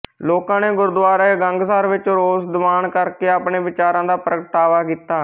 ਲੋਕਾਂ ਨੇ ਗੁਰਦੁਆਰਾ ਗੰਗਸਰ ਵਿੱਚ ਰੋਸ ਦੀਵਾਨ ਕਰਕੇ ਆਪਣੇ ਵਿਚਾਰਾਂ ਦਾ ਪ੍ਰਗਟਾਵਾ ਕੀਤਾ